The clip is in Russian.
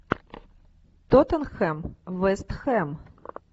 тоттенхэм вест хэм